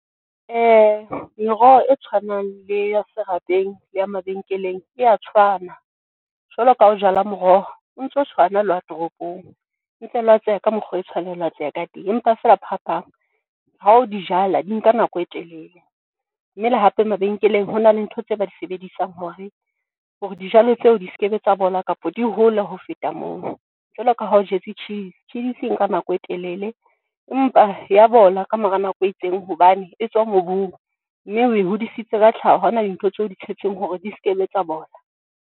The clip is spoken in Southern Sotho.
Meroho e tshwanang le ya serapeng le ya mabenkeleng e a tshwana, jwalo ka ha ho jala moroho o ntso tshwana le wa toropong e ntse e ka mokgo, e tshwanela ho ka teng. Empa fela phapang hao dijala di nka nako e telele mme le hape mabenkeleng. Hona le ntho tse ba di sebedisang hore, hore dijalo tseo di skebe tsa bola kapa di hole ho feta moo, jwaloka ha o jetse tjhidisi, tjhidisi e nka nako e telele empa ya bola, ka mora nako e itseng hobane e tswa mobung mme o e hodisitse ka tlhaho ha hona dintho tseo o di tshetseng hore di skebe tsa bola.